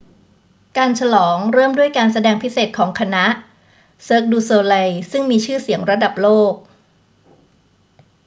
การฉลองเริ่มด้วยการแสดงพิเศษของคณะ cirque du soleil ซึ่งมีชื่อเสียงระดับโลก